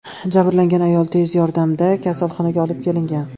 Jabrlangan ayol tez yordamda kasalxonaga olib kelingan.